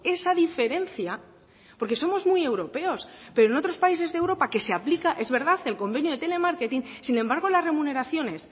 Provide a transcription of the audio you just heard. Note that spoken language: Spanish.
esa diferencia porque somos muy europeos pero en otros países de europa que se aplica es verdad el convenio telemarketing sin embargo las remuneraciones